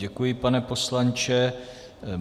Děkuji, pane poslanče.